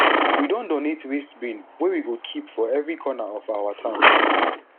we don donate waste bin wey we go keep for every corner of our town